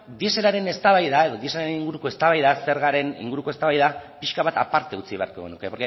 dieselaren eztabaida edo dieselaren inguruko eztabaida zergaren inguruko eztabaida pixka bat aparte utzi beharko genuke